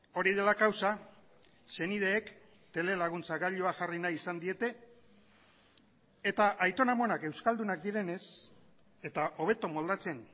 hori dela kausa senideek telelaguntzagailua jarri nahi izan diete eta aiton amonak euskaldunak direnez eta hobeto moldatzen